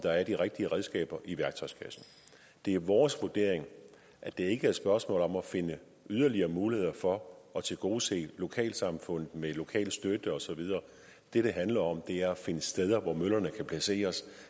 der er de rigtige redskaber i værktøjskassen det er vores vurdering at det ikke er et spørgsmål om at finde yderligere muligheder for at tilgodese lokalsamfund med lokal støtte og så videre det det handler om er at finde steder hvor møllerne kan placeres